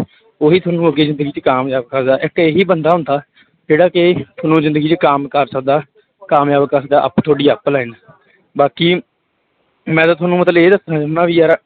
ਉਹੀ ਤੁਹਾਨੂੰ ਅੱਗੇ ਜ਼ਿੰਦਗੀ ਚ ਕਾਮਯਾਬ ਕਰਦਾ, ਇੱਕ ਇਹੀ ਬੰਦਾ ਹੁੰਦਾ ਜਿਹੜਾ ਕਿ ਤੁਹਾਨੂੰ ਜ਼ਿੰਦਗੀ ਚ ਕੰਮ ਕਰ ਸਕਦਾ, ਕਾਮਯਾਬ ਕਰ ਸਕਦਾ ਅਪ ਤੁਹਾਡੀ online ਬਾਕੀ ਮੈਂ ਤਾਂ ਤੁਹਾਨੂੰ ਮਤਲਬ ਇਹ ਦੱਸਣਾ ਚਾਹੁੰਨਾ ਵੀ ਯਾਰ